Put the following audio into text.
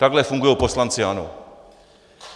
Takhle fungují poslanci ANO.